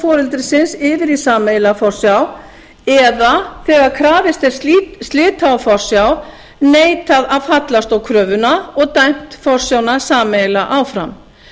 foreldrisins yfir í sameiginlega forsjá eða þegar krafist er slita á forsjá neitað að fallast á kröfuna og dæmt forsjána sameiginlega áfram